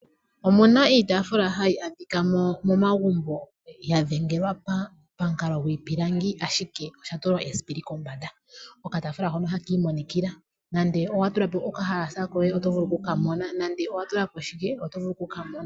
Omuna iitaafula hayi adhika momagumbo, yadhengelwa pamukalo gwiipilangi ashike oshatulwa esipili kombanda. Okataafula hono ohakiimonikila nande owatulapo okahalasa koye, otovulu okukamona nande owatulapo shike otovulu okukamona.